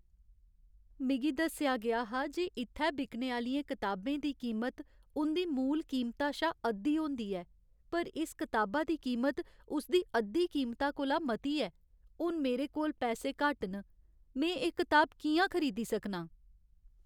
मिगी दस्सेआ गेआ हा जे इत्थै बिकने आह्लियें कताबें दी कीमत उं'दी मूल कीमता शा अद्धी होंदी ऐ, पर इस कताबा दी कीमत उसदी अद्धी कीमता कोला मती ऐ। हून मेरे कोल पैसे घट्ट न, में एह् कताब कि'यां खरीदी सकनां?